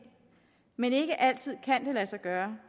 men det kan ikke altid lade sig gøre